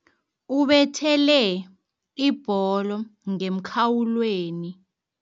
Ubethele ibholo ngemkhawulweni.